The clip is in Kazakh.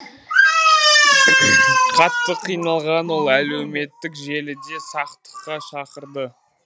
қатты қиналған ол әлеуметтік желіде сақтыққа шақырды